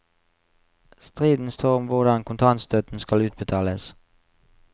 Striden står om hvordan kontantstøtten skal utbetales.